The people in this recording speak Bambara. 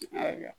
Ayiwa